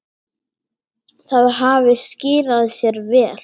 Það hafi skilað sér vel.